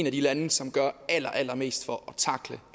af de lande som gør allerallermest for at tackle